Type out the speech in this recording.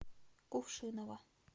кувшиново